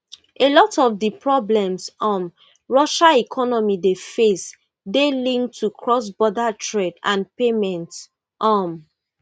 a lot of di problems um russia economy dey face dey linked to crossborder trade and payments um